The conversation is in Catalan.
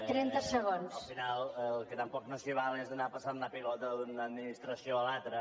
al final el que tampoc no s’hi val és anar passant la pilota d’una administració a l’altra